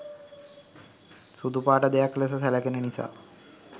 සුදුපාට දෙයක් ලෙස සැළකෙන නිසා